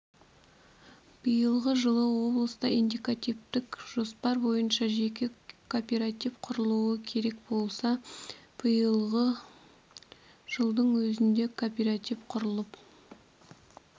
биылғы жылы облыста индикативтік жоспар бойынша жеке кооператив құрылу керек болса биылғы жылдың өзінде кооператив құрылып